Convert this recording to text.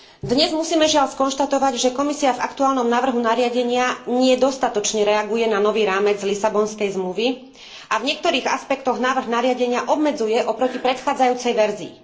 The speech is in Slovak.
Dnes musíme žiaľ skonštatovať, že Komisia v aktuálnom návrhu nariadenia nie dostatočne reaguje na nový rámec Lisabonskej zmluvy a v niektorých aspektoch návrh nariadenia obmedzuje oproti predchádzajúcej verzii.